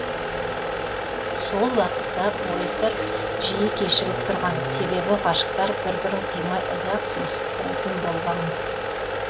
сол уақытта поездар жиі кешігіп тұрған себебі ғашықтар бір бірін қимай ұзақ сүйісіп тұратын болған мыс